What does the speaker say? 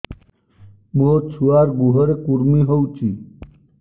ମୋ ଛୁଆର୍ ଗୁହରେ କୁର୍ମି ହଉଚି